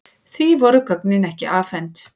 Því voru gögnin ekki afhent.